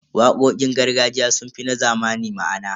Waƙoƙin gargajiya sun fi na zamani ma'ana.